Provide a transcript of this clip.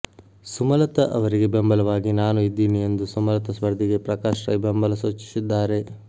ಸುಮಲತಾ ಅವರಿಗೆ ಬೆಂಬಲವಾಗಿ ನಾನು ಇದ್ದೀನಿ ಎಂದು ಸುಮಲತಾ ಸ್ಪರ್ಧಿಗೆ ಪ್ರಕಾಶ್ ರೈ ಬೆಂಬಲ ಸೂಚಿಸಿದ್ದಾರೆ